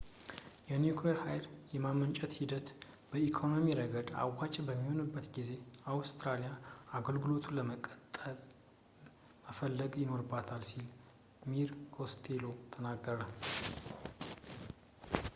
የኒኩሌር ሃይል የማመንጨት ሂደት በኢኮኖሚ ረገድ አዋጪ በሚሆንበት ጊዜ አውስትራሊያ አገልግሎቱን ለመጠቀም መፈለግ ይኖርባታል ሲል mr costello ተናገረ